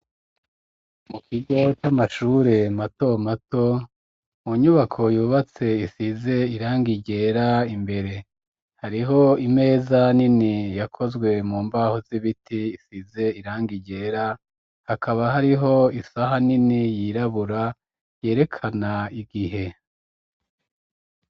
Mu kigo c'amashure mato mato mu nyubako yubatse isize irangi ryera imbere hariho imeza nini yakozwe mu mbaho z'ibiti isize irangigera hakaba hariho isaha nini yirabura yerekana igihe.